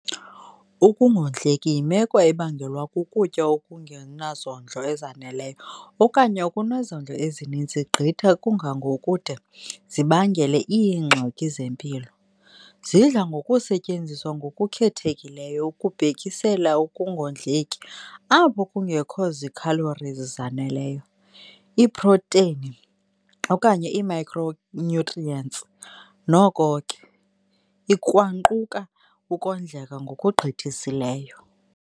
Ukungondleki yimeko ebangelwa kukutya okungenazondlo zaneleyo okanye okunezondlo ezininzi gqitha kangangokude zibangele iingxaki zempilo. Zidla ngokusetyenziswa ngokukhethekileyo ukubhekisela ukungondlekini apho kungekho zikhalori zaneleyo, iiproteyini okanye iimicronutrients, noko ke, ikwaquka ukondleka ngokugqithiseleyo.